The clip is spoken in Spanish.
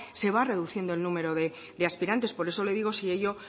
se va reduciendo el número de aspirantes por eso le digo si ello